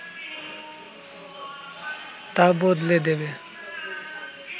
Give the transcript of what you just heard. তা বদলে দেবে